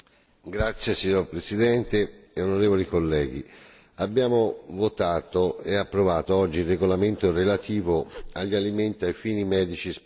Signora Presidente, onorevoli colleghi, abbiamo votato e approvato oggi il regolamento relativo agli alimenti ai fini medici speciali.